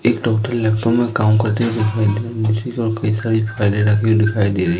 एक doctor laptop में काम करते हुए दिखाई दे रहा है। रजिस्टर और कई सारी फाइले रखी दिखाई दे रही हैं।